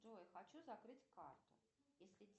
джой хочу закрыть карту если